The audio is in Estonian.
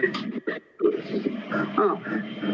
Aa.